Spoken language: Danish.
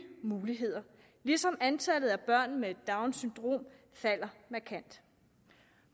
muligheder ligesom antallet af børn med downs syndrom falder markant